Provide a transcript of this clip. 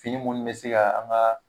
Fini minnu be se ga an ga